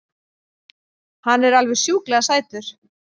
Hann er alveg sjúklega sætur!